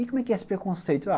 E como é que é esse preconceito?